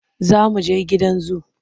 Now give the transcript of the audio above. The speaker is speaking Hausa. Za mu je gidan zu.